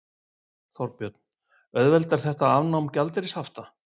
Þorbjörn: Auðveldar þetta afnám gjaldeyrishafta?